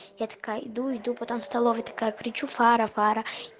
я такая иду иду потом в столовой такая кричу фара фара